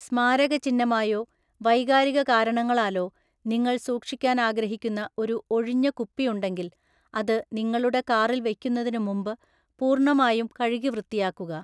സ്മാരകചിഹ്നമായോ വൈകാരിക കാരണങ്ങളാലോ നിങ്ങൾ സൂക്ഷിക്കാൻ ആഗ്രഹിക്കുന്ന ഒരു ഒഴിഞ്ഞ കുപ്പി ഉണ്ടെങ്കിൽ, അത് നിങ്ങളുടെ കാറിൽ വയ്ക്കുന്നതിന് മുമ്പ് പൂർണ്ണമായും കഴുകിവൃത്തിയാക്കുക